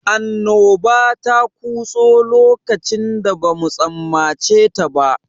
Annoba ta kutso lokacin da bamu tsammaceta ba.